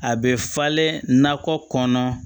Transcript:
A bɛ falen nakɔ kɔnɔ